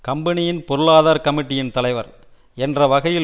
கம்பெனியின் பொருளாதார கமிட்டியின் தலைவர் என்ற வகையில்